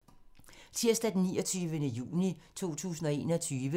Tirsdag d. 29. juni 2021